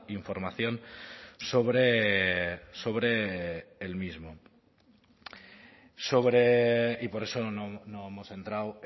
información sobre el mismo y por eso no hemos entrado